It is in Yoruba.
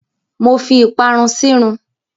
Mo fi ìparun sírun.